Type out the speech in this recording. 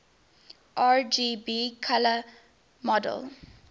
rgb color model